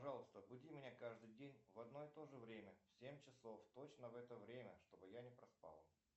пожалуйста буди меня каждый день в одно и тоже время в семь часов точно в это время чтобы я не проспал